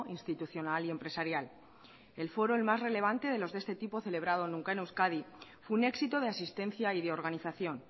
institucional y empresarial el foro el más relevante de los de este tipo celebrado nunca en euskadi fue un éxito de asistencia y de organización